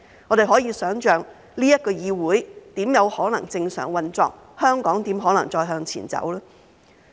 我們可以想象，這個議會怎有可能正常運作，香港怎可能再向前走？